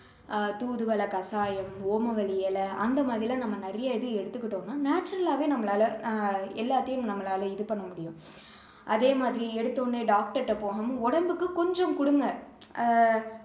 அஹ் தூதுவளை கசாயம், ஓமவல்லி இலை, அந்த மாதிரி எல்லாம் நம்ம நிறைய இது எடுத்துக்கிட்டோம்னா natural ஆவே நம்மளால அஹ் எல்லாத்தையும் நம்மளால இது பண்ண முடியும் அதே மாதிரி எடுத்த உடனே doctor ட்ட போகாம உடம்புக்கு கொஞ்சம் கொடுங்க அஹ்